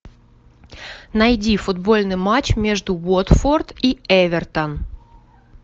найди футбольный матч между уотфорд и эвертон